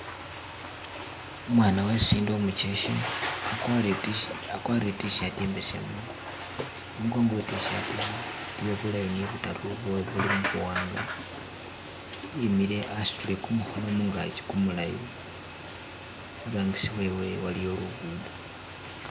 Umwana uwesindi umucheshe, akwarire I tishi, I'tshirt imbesemu imukongo we tshirt iyi iliyo bu line bataru bwo ubuli mubuwanga , imile asutile kumukhono mungaki kumulayi, iburangisi wewe iliyo lugudo.